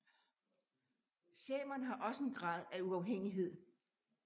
Samerne har også en grad af uafhængighed